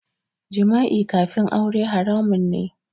Jima'i kafin aure haramun ne